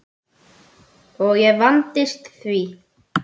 Og ég vandist því.